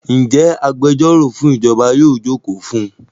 Ǹjẹ́ agbẹjọ́rọ̀ fún ìjọba yóò jókòó fún un?